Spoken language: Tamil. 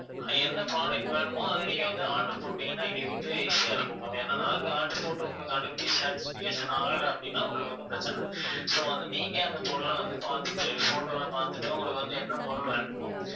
என்ன product வேணுமோ அத நீங்க வந்து order போட்டிங்கன்னா எங்களுக்கு வந்து easy ஆ இருக்கும் ma'am ஏன்னா நாங்க order போட்டு உங்களுக்கு அனுப்பி satisfaction ஆகல அப்படின்னா உங்களுக்கு வந்து பிரச்சனை so வந்து நீங்க அந்த பொருளை வந்து பார்த்துட்டு photo ல பார்த்துட்டு உங்களுக்கு வந்து என்ன பொருள் வேணுமோ